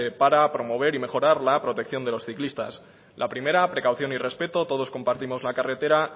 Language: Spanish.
para promover y mejorar la protección de los ciclistas la primera precaución y respeto todos compartimos la carretera